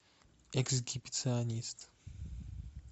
эксгибиционист